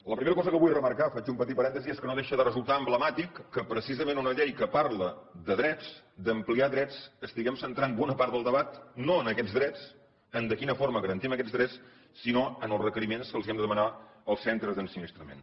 la primera cosa que vull remarcar faig un petit parèntesi és que no deixa de resultar emblemàtic que precisament en una llei que parla de drets d’ampliar drets estiguem centrant bona part del debat no en aquests drets en de quina forma garantim aquests drets sinó en els requeriments que els hem de demanar als centres d’ensinistrament